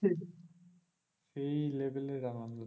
হম level এর আনন্দ।